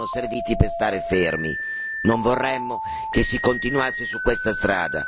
Lamy parlava di piccoli passi, che però sono serviti per restare fermi.